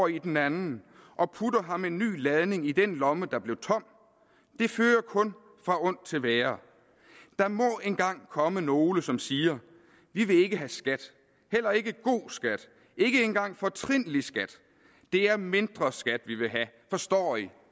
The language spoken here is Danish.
i den anden og putter ham en ny ladning i den lomme der blev tom det fører kun fra ondt til værre der må engang komme nogle som siger vi vil ikke have skat heller ikke god skat ikke engang fortrinlig skat det er mindre skat vi vil have forstår i